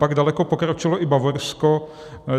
Pak daleko pokročilo i Bavorsko.